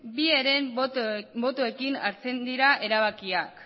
bi herenen botoekin hartzen dira erabakiak